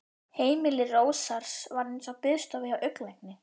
Heimili Rósars var eins og biðstofa hjá augnlækni.